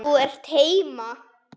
Þú ert heima!